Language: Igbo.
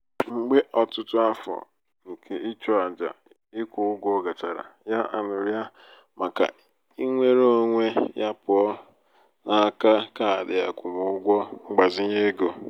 mgbe ọtụtụ afọ nke ịchụ aja ikwụ ụgwọ gachara ya aṅụrịa màkà inwere onwe ya pụọ ya pụọ n'aka kaadị akwụmụgwọ mgbazinye ego.